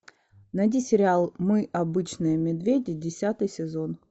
найди сериал мы обычные медведи десятый сезон